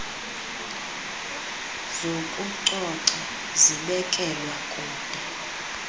zokucoca zibekelwa kude